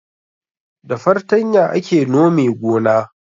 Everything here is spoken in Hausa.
Da fartanya ake nome gona